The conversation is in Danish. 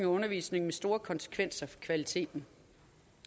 og undervisning med store konsekvenser for kvaliteten